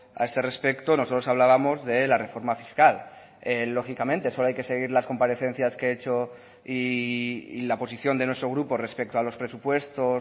a ese respecto nosotros hablábamos de la reforma fiscal lógicamente solo hay que seguir las comparecencias que he hecho y la posición de nuestro grupo respecto a los presupuestos